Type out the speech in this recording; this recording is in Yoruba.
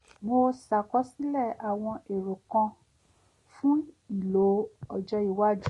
mo ṣàkọsílẹ̀ àwọn èrò kan fún ìlò ọjọ́ iwájú